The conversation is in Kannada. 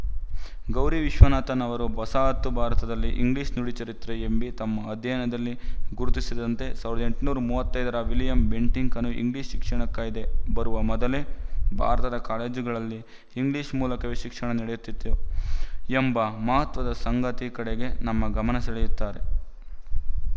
ಗೌರಿ ವಿಶ್ವನಾಥನ್ ಅವರು ವಸಾಹತು ಭಾರತದಲ್ಲಿ ಇಂಗ್ಲಿಶು ನುಡಿ ಚರಿತ್ರೆ ಎಂಬೀ ತಮ್ಮ ಅಧ್ಯಯನದಲ್ಲಿ ಗುರುತಿಸಿದಂತೆ ಸಾವಿರದ ಎಂಟುನೂರ ಮೂವತ್ತ್ ಐದರ ವಿಲಿಯಂ ಬೆಂಟಿಕ್‍ನ ಇಂಗ್ಲಿಶು ಶಿಕ್ಷಣ ಕಾಯ್ದೆ ಬರುವ ಮೊದಲೇ ಭಾರತದ ಕಾಲೇಜುಗಳಲ್ಲಿ ಇಂಗ್ಲಿಶು ಮೂಲಕವೇ ಶಿಕ್ಷಣ ನಡೆಯುತಿತ್ತು ಎಂಬ ಮಹತ್ವದ ಸಂಗತಿಯ ಕಡೆಗೆ ನಮ್ಮ ಗಮನ ಸೆಳೆಯುತ್ತಾರೆ